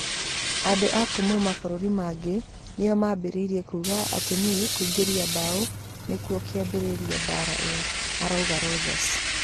"Andũ a kuuma mabũrũri mangĩ nĩo mambĩrĩirie kuuga atĩ nĩe kũingeria bao nĩkuo kĩambĩrĩirie mbaara ĩyo", araũga Rogers.